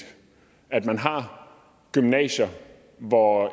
at man har gymnasier hvor